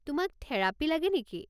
তোমাক থেৰাপী লাগে নেকি?